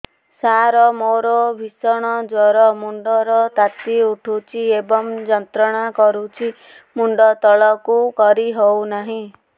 ସାର ମୋର ଭୀଷଣ ଜ୍ଵର ମୁଣ୍ଡ ର ତାତି ଉଠୁଛି ଏବଂ ଯନ୍ତ୍ରଣା କରୁଛି ମୁଣ୍ଡ ତଳକୁ କରି ହେଉନାହିଁ